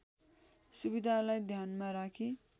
सुविधालाई ध्यानमा राखी